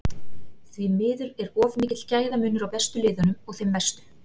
Því miður er of mikill gæðamunur á bestu liðunum og þeim verstu